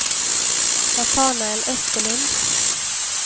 Natanael Österlund